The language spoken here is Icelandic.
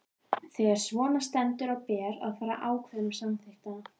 Þegar svona stendur á ber að fara eftir ákvæðum samþykktanna.